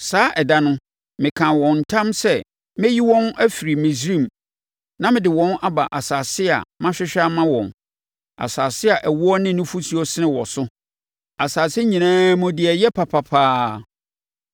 Saa ɛda no, mekaa wɔn ntam sɛ mɛyi wɔn afiri Misraim na mede wɔn aba asase a mahwehwɛ ama wɔn, asase a ɛwoɔ ne nufosuo sene wɔ so, asase nyinaa mu deɛ ɛyɛ papa paa.